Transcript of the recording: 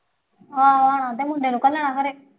ਹਾਂ ਅਤੇ ਮੁੰਡੇ ਨੂੰ ਇਕੱਲਾ ਘਰੇ